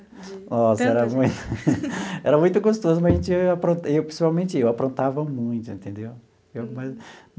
Nossa, era muito era muito gostoso, mas a gente apron principalmente eu aprontava muito, entendeu? Eu.